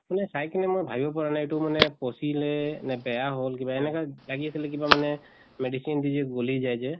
মানে চাই কিনে মই ভাবিব পৰা নাই এইটো মানে পচিলে নে বেয়া হল কিবা? এনেকা লাগি আছিলে কিবা মানে medicine দি যে গলি যায় যে